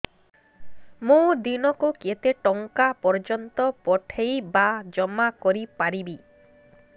ମୁ ଦିନକୁ କେତେ ଟଙ୍କା ପର୍ଯ୍ୟନ୍ତ ପଠେଇ ବା ଜମା କରି ପାରିବି